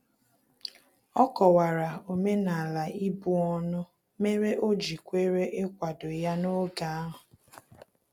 Ọ kọwara omenala ibu ọnụ mere o ji kwere ikwado ya n'oge ahu